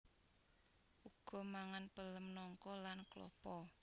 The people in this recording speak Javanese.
Uga mangan pelem nangka lan klapa